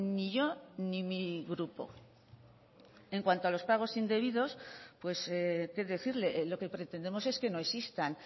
ni yo ni mi grupo en cuanto a los pagos indebidos pues qué decirle lo que pretendemos es que no existan